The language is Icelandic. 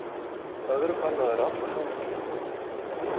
Öðrum banna þær alla hamingju.